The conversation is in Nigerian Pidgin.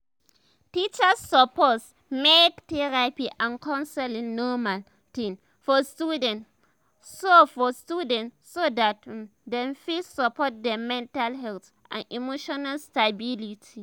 teachers suppose make therapy and counseling normal t'ing for students so for students so dat um dem fit um support dem mental health and emotional stability